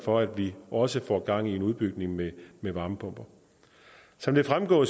for at vi også får gang i en udbygning med med varmepumper som det fremgår